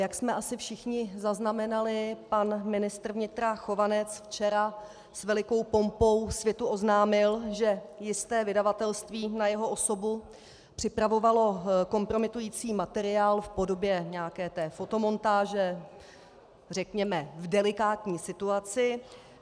Jak jsme asi všichni zaznamenali, pan ministr vnitra Chovanec včera s velikou pompou světu oznámil, že jisté vydavatelství na jeho osobu připravovalo kompromitující materiál v podobě nějaké té fotomontáže, řekněme v delikátní situaci.